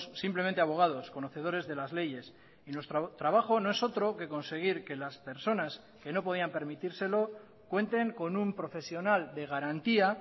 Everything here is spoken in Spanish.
simplemente abogados conocedores de las leyes y nuestro trabajo no es otro que conseguir que las personas que no podían permitírselo cuenten con un profesional de garantía